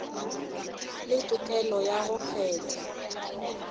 le tokelo ya go kgetha